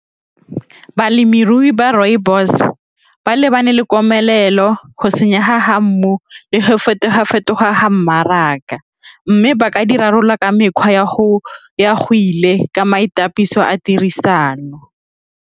Balemirui ba rooibos ba lebane le komelelo go senyega ga mmu le go fetoga-fetoga ga mmaraka, mme ba ka dirarolola ka mekgwa ya go ya go ile ka maitapiso a tirisano.